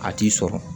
A t'i sɔrɔ